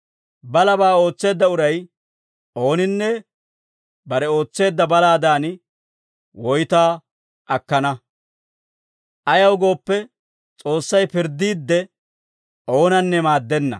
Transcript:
Balabaa ootseedda uray ooninne, bare ootseedda balaadan woytaa akkana; ayaw gooppe, S'oossay pirddiidde, oonanne maaddenna.